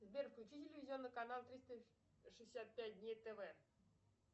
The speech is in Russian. сбер включи телевизионный канал триста шестьдесят пять дней тв